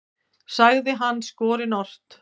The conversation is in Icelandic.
sagði hann skorinort.